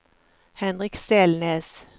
Henrik Selnes